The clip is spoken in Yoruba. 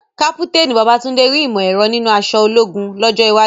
Kápúténì Babátúndé rí ìmọ̀ ẹ̀rọ nínú aṣọ ológun lọ́jọ́ iwájú.